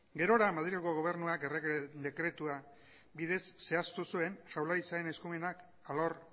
gerora madrilgo gobernuak errege dekretua bidez zehaztu zuen jaurlaritzaren eskumenak alor